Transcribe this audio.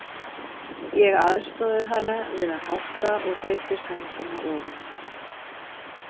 Ég aðstoðaði hana við að hátta og breiddi sængina ofan á hana.